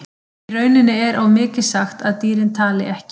Í rauninni er of mikið sagt að dýrin tali ekki.